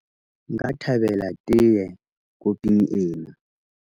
nka thabela tee koping ena